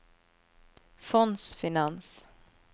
fondsfinans